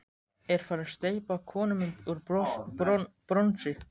Er farin að steypa konumynd úr bronsi.